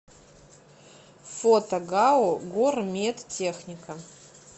фото гау гормедтехника